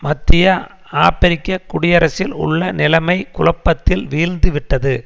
மத்திய ஆபிரிக்க குடியரசில் உள்ள நிலைமை குழப்பத்தில் வீழ்ந்து விட்டது